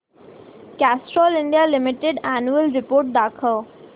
Castrol India limited annual report दाखव